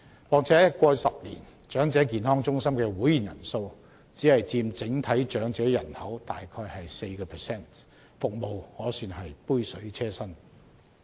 況且，過去10年，長者健康中心的會員人數只佔整體長者人口約 4%， 服務可算是杯水車薪。